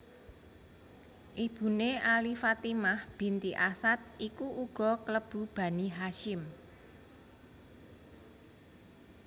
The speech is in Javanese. Ibuné Ali Fatimah binti Asad iku uga klebu Bani Hasyim